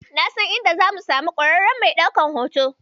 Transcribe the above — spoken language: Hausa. Na san inda zamu samu ƙwararren mai ɗaukan hoto.